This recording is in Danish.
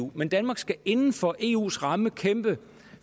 eu men danmark skal inden for eus ramme kæmpe